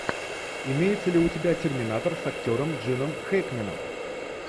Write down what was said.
имеется ли у тебя терминатор с актером джином хэкменом